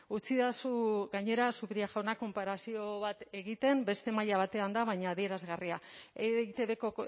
utzidazu gainera zupiria jauna konparazio bat egiten beste maila batean da baina adierazgarria eitbko